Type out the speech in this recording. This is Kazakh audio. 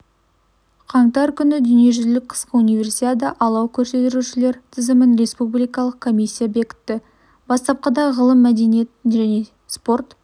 қаңтар күні дүниежүзілік қысқы универсиада алау көтерушілердің тізімін республикалық комиссия бекітті бастапқыда ғылым мәдениет және спорт